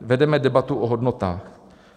Vedeme debatu o hodnotách.